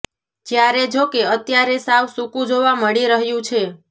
જ્યારે જોકે અત્યારે સાવ સૂકું જોવા મળી રહ્યું છે